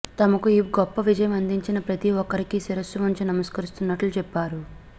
తమకు ఈ గొప్ప విజయం అందించిన ప్రతి ఒక్కరికీ శిరస్సు వంచి నమస్కరిస్తున్నట్టు చెప్పారు